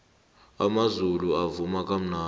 amazulu avuma kamnandi